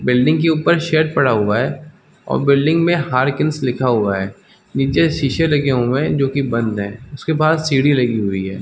Building के ऊपर shed पड़ा हुआ है और बिल्डिंग में हारकिन्स लिखा हुआ है नीचे शीशे लगा हुए है जो कि बंद है उसके बाद सीढ़ी लगी हुई है।